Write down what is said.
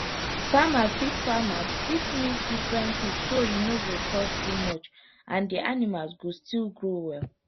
farmer fit farmer fit mix different feed so e no go cost too much and the animals go still grow well